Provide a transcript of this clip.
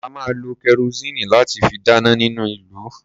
A máa lo kẹrosíìnì láti fi dáná ní ìlú.